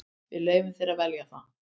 Við leyfum þér að velja það.